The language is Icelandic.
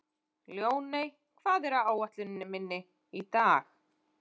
Ljóney, hvað er á áætluninni minni í dag?